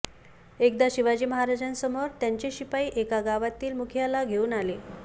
एकदा शिवाजी महाराजांसमोर त्यांचे शिपाई एका गावातील मुखियाला घेऊन आले